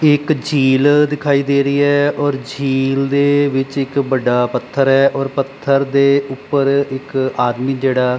ਇਹ ਇੱਕ ਝੀਲ ਦਿਖਾਈ ਦੇ ਰਹੀ ਹੈ ਔਰ ਝੀਲ ਦੇ ਵਿੱਚ ਇੱਕ ਵੱਡਾ ਪੱਥਰ ਹੈ ਔਰ ਪੱਥਰ ਦੇ ਉੱਪਰ ਇੱਕ ਆਦਮੀ ਜਿਹੜਾ --